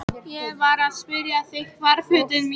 Ég var að spyrja þig hvar fötin mín væru?